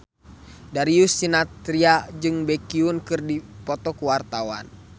Darius Sinathrya jeung Baekhyun keur dipoto ku wartawan